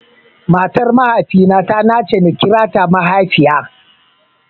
Matar Mahaifina ta nace nakira mahaifiya.